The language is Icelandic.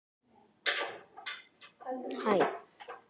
Fer með glasið og næstum tóma kókflöskuna fram í eldhús.